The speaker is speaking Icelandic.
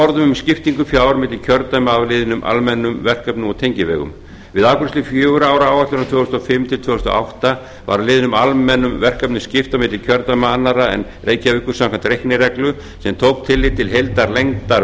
skiptingu fjár milli kjördæma á liðnum almennum verkefnum og tengivegum við afgreiðslu fjögurra ára áætlunar árin tvö þúsund og fimm til tvö þúsund og átta var liðnum almennum verkefnum skipt á milli kjördæma annarra en reykjavíkur samkvæmt reiknireglu sem tók tillit til heildarlengdar